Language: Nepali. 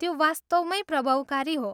त्यो वास्तवमै प्रभावकारी हो।